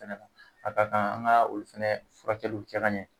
Kɛnɛma, a ka kan an ka olu fɛnɛ furakɛliw kɛ ka ɲɛ.